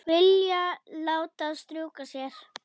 Vilja láta strjúka sér.